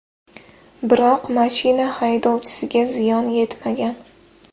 Biroq mashina haydovchisiga ziyon yetmagan.